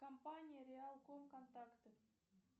компания реал ком контакты